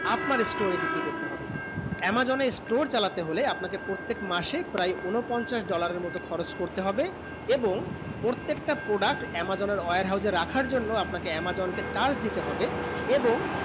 আপামর store এ বিক্রি করতে হবে amazon এ store চালাতে হলে আপনা কে প্রত্যেক মাসে প্রায় ঊনপঞ্চাস dollar এর মতুন খরচ করতে হবে এবং প্রত্যেক তা product amazon warehouse এ রাখা জন্য আপনা কে amazon কে charge দিতে হবে এবং